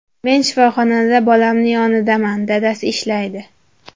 Men shifoxonada bolamni yonidaman, dadasi ishlaydi.